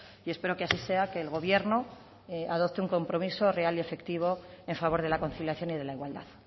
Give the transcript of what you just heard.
y espero que así sea que el gobierno adopte un compromiso real y efectivo en favor de la conciliación y de la igualdad